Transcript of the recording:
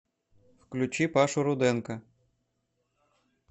включи пашу руденко